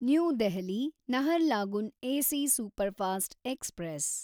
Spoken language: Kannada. new Delhi Naharlagun AC superfast express